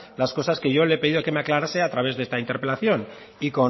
las cosas que yo le he pedido que me aclarase a través de esta interpelación y